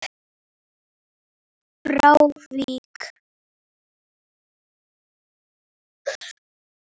frá Vík.